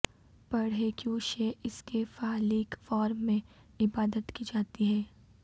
پڑھیں کیوں شیع اس کی فالیک فارم میں عبادت کی جاتی ہے